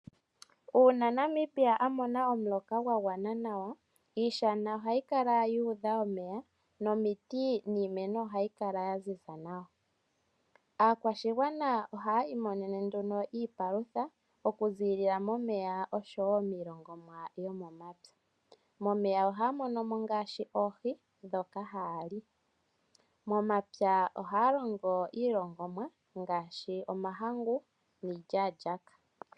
Uuna Namibia a mona omuloka gwa gwana nawa iishana ohayi kala yu udha omeya nomiti niimeno ohayi ohayi kala ya ziza nawa. Aakwashigwana ohaya imonene nduno iipalutha okuziilila momeya osho wo iilongomwa yomomapya. Momeya ohaya mono ngaashi oohi ndhoka haya li. Momapya ohaya longo mo iilongomwa ngaashi omahangu niilyaalyaaka.